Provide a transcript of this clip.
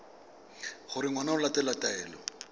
gore ngwana o latela taelo